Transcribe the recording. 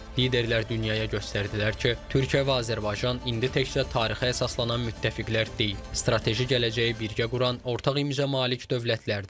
Liderlər dünyaya göstərdilər ki, Türkiyə və Azərbaycan indi təkcə tarixə əsaslanan müttəfiqlər deyil, strateji gələcəyi birgə quran ortaq imza malik dövlətlərdir.